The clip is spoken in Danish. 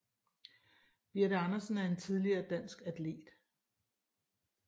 Birthe Andersen er en tidligere dansk atlet